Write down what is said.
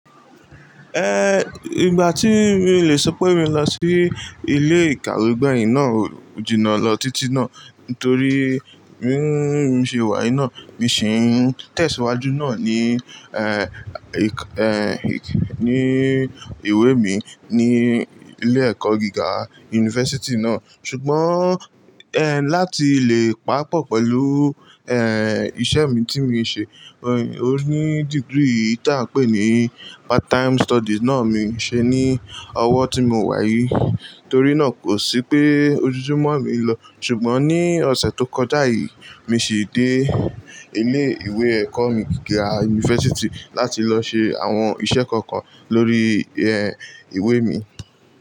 Eh, ìgbà tí mi le sọ pé mi lọ sí ilé ìkàwé gbẹ̀yìn náà ò jìnnà lọ títí náà, nítorí mí n ṣe wà yií náà, mi sì ń tẹ̀síwájú náà ní, ẹ́, ẹ́, ní ìwé mi ní ilé-ẹ̀kọ́ gíga yunifásítì náà. Ṣùgbọ́n, ẹ́, láti lè pàpọ̀ pẹ̀lú, ẹ́, iṣẹ́ mi tí mi ṣe, òní degree tí a pè ní part time studies náà mi ṣe ní ọwọ́ tí mo wà yìí. Torí náà kò sí pé ojúmọ́ mi ń lọ. Ṣùgbọ́n ní ọ̀sẹ̀ tó kọjá yìí, mi sì dé ilé ìwé ẹ̀kọ́ mi gira yunifásítì láti lọ ṣe àwọn iṣẹ́ kọ̀ọ̀kan lórí, ẹ́, ìwé mi.